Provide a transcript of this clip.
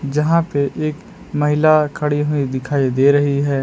जहां पे एक महिला खड़ी हुई दिखाई दे रही है।